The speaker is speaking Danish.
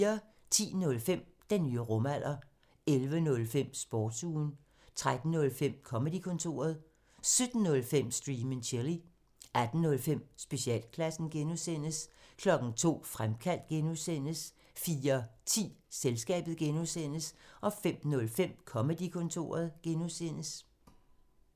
10:05: Den nye rumalder 11:05: Sportsugen 13:05: Comedy-kontoret 17:05: Stream and chill 18:05: Specialklassen (G) 02:00: Fremkaldt (G) 04:10: Selskabet (G) 05:05: Comedy-kontoret (G)